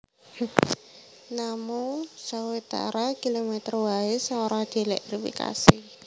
Namung sawetara kilomèter waé sing ora dièlèktrifikasi